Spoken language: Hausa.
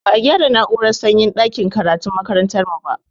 Ba a gyara na'urar sanyin ɗakin karatun makarantar mu ba